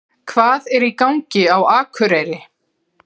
HVAÐ ER Í GANGI Á AKUREYRI?